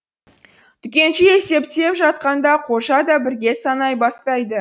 дүкенші есептеп жатқанда қожа да бірге санай бастайды